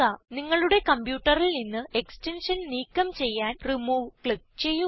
നിങ്ങളുടെ കംപ്യൂട്ടറിൽ നിന്ന് എക്സ്റ്റൻഷൻ നീക്കം ചെയ്യാൻ റിമൂവ് ക്ലിക്ക് ചെയ്യുക